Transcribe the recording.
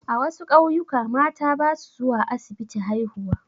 A wasu ƙauyuka mata ba su zuwa asibiti haihuwa.